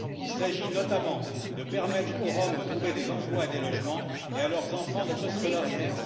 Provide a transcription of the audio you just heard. Il s'agit, notamment, de permettre aux Roms de trouver des emplois et des logements, et à leurs enfants d'être scolarisés.